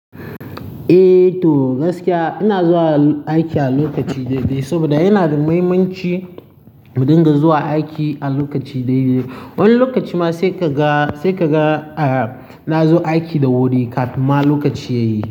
Eh, to gaskiya ina zuwa aiki a lokaci daidai saboda yana da muhimmanci mu dinga zuwa aiki a lokaci daidai. Wani lokaci ma sai ka ga, sai ka ga eh, na zo aiki da wuri kafin ma lokaci ya yi.